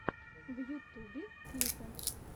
в ютубе клипы